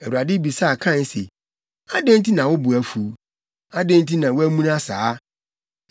Awurade bisaa Kain se, “Adɛn nti na wo bo afuw? Adɛn nti na woamuna saa?